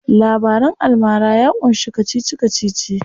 Labaran almara ya ƙunshi kacici kacici.